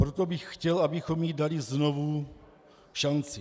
Proto bych chtěl, abychom jí dali znovu šanci.